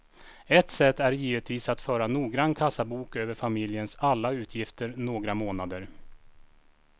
Ett sätt är givetvis att föra noggrann kassabok över familjens alla utgifter några månader.